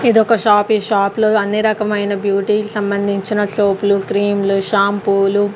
ఇదొక షాప్ ఈ షాప్ లో అన్ని రకమైన బ్యూటీ కి సంబంధించిన సోపు లు క్రీం లు షాంపూ లు.